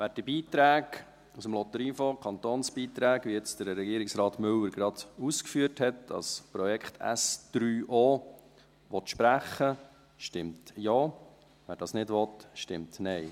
Wer die Beiträge aus dem Lotteriefonds, die Kantonsbeiträge, wie es Herr Regierungsrat Müller jetzt gerade ausgeführt hat, an das Projekt SO sprechen will, stimmt Ja, wer das nicht will, stimmt Nein.